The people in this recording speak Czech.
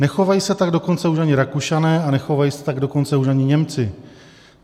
Nechovají se tak dokonce už ani Rakušané, a nechovají se tak dokonce už ani Němci.